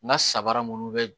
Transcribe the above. N ka sabara munnu bɛ